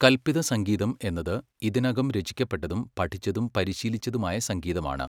കൽപിത സംഗീതം എന്നത് ഇതിനകം രചിക്കപ്പെട്ടതും പഠിച്ചതും പരിശീലിച്ചതുമായ സംഗീതമാണ്.